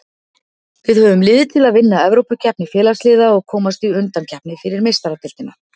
Við höfum lið til að vinna Evrópukeppni Félagsliða og komast í undankeppni fyrir Meistaradeildina.